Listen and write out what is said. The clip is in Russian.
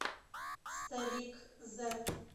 старик зет